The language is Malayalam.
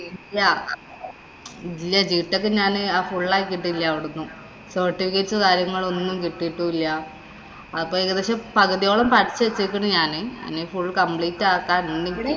ഇല്ല്യ. ഇല്ല. gtech ഞാന് full ആക്കീട്ടില അവിടുന്ന്. certificates ഉം, കാര്യങ്ങളും ഒന്നും കിട്ടീട്ടും ഇല്ല. അപ്പൊ ഏകദേശം പകുതിയോളം വച്ചേക്കുന്നു ഞാന്. ഇനി ഇപ്പം full complete ആക്കാം